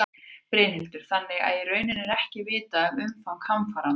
Brynhildur: Þannig að í rauninni er ekki vitað um umfang hamfaranna?